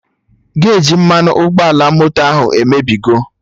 Geji mmanụ ụgbọala moto Họnda ahụ emebigo